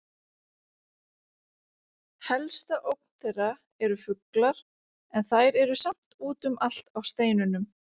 Helsta ógn þeirra eru fuglar en þær eru samt úti um allt á steinunum.